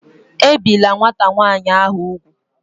Ebìla nwata nwaanyị ahụ úgwù!